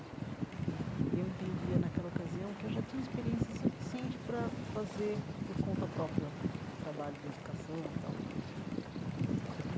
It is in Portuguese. E e eu entendia naquela ocasião que já tinha experiência suficiente para fazer, por conta própria, um trabalho de educação e tal.